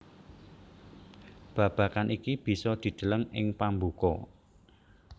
Babagan iki bisa dideleng ing pambuka